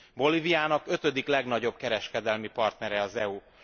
Bolíviának ötödik legnagyobb kereskedelemi partnere az EU.